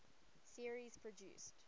series produced